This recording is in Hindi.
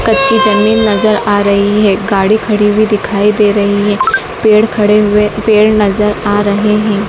कच्ची जमीन नजर आ रही है गाड़ी खड़ी हुई दिखाई दे रही है पेड़ खड़े हुए पेड़ नजर आ रहे हैं।